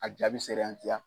A jaabi sera yan